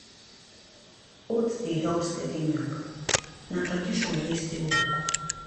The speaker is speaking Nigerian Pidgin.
oats dey help steady milk na tradition way still work.